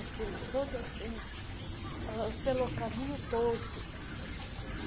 Aquilo todo assim, ãh pelo caminho todo.